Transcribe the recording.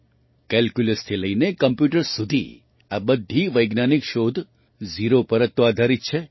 કેલ્ક્યુલસથી લઈને કમ્પ્યૂટર્સ સુધી આ બધી વૈજ્ઞાનિક શોધ ઝીરો પર જ તો આધારિત છે